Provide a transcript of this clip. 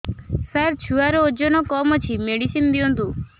ସାର ଛୁଆର ଓଜନ କମ ଅଛି ମେଡିସିନ ଦିଅନ୍ତୁ